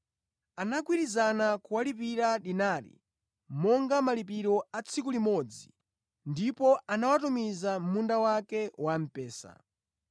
Anagwirizana kuwalipira dinari monga malipiro a tsiku limodzi ndipo anawatumiza mʼmunda wake wamphesa.